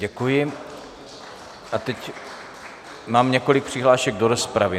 Děkuji a teď mám několik přihlášek do rozpravy.